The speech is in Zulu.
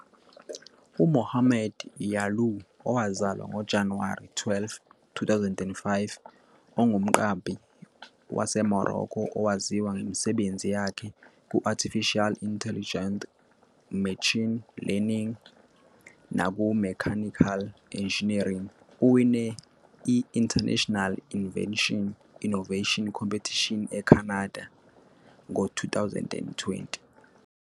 UMohamed Yalouh, owazalwa ngoJanuwari 12, 2005, ungumqambi waseMorocco owaziwa ngemisebenzi yakhe ku- Artificial Intelligence, Machine Learning, nakuMechanical Engineering. Uwine i-International Invention Innovation Competition eCanada ngo-2020.